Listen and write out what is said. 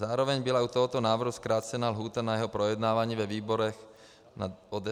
Zároveň byla u tohoto návrhu zkrácena lhůta na jeho projednávání ve výborech o 10 dní.